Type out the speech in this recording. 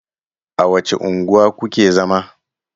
A wace unguwa ku ke zama?